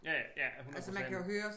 Ja ja 100%